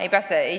Ei ole nii.